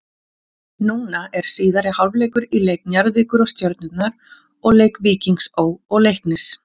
Núna er síðari hálfleikur í leik Njarðvíkur og Stjörnunnar og leik Víkings Ó. og Leiknis.